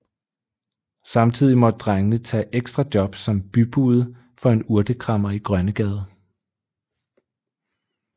Samtidig måtte drengene tage ekstra jobs som bybude for en urtekræmmer i Grønnegade